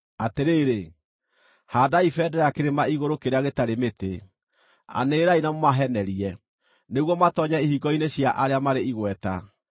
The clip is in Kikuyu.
Atĩrĩrĩ, haandai bendera kĩrĩma igũrũ kĩrĩa gĩtarĩ mĩtĩ, anĩrĩrai na mũmahenerie, nĩguo matoonyere ihingo-inĩ cia arĩa marĩ igweta.